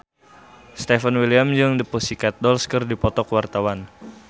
Stefan William jeung The Pussycat Dolls keur dipoto ku wartawan